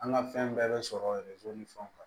An ka fɛn bɛɛ bɛ sɔrɔ ni fɛnw kan